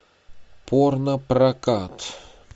порно прокат